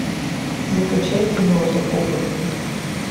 закачай кино закопанные